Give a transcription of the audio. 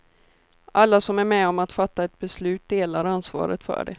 Alla som är med om att fatta ett beslut delar ansvaret för det.